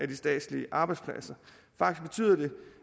de statslige arbejdspladser